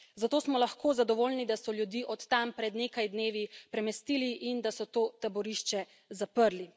Zato smo lahko zadovoljni, da so ljudi od tam pred nekaj dnevi premestili in da so to taborišče zaprli.